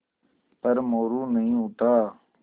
पर मोरू नहीं उठा